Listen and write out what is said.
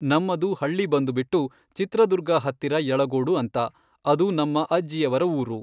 ನಮ್ಮದು ಹಳ್ಳಿ ಬಂದುಬಿಟ್ಟು ಚಿತ್ರದುರ್ಗ ಹತ್ತಿರ ಯಳಗೋಡು ಅಂತ. ಅದು ನಮ್ಮ ಅಜ್ಜಿಯವರ ಊರು.